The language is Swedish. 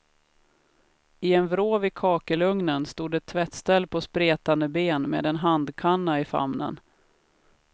I en vrå vid kakelugnen, stod ett tvättställ på spretande ben med en handkanna i famnen.